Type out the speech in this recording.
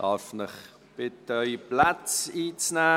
Darf ich Sie bitten, Ihre Plätze einzunehmen?